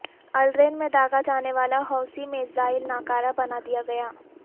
الرین میں داغاجانے والا حوثی میزائل ناکارہ بنادیا گیا